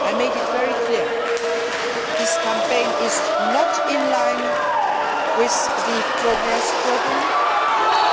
I made it very clear this campaign is not in line with the Progress programme and